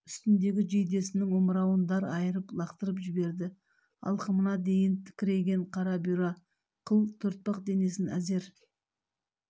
үстіндегі жейдесінің омырауын дар айырып лақтырып жіберді алқымына дейін тікірейген қара бұйра қыл төртбақ денесін әзер